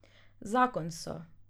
Zakon so.